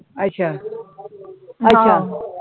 ਅੱਛਾ ਆਹੋ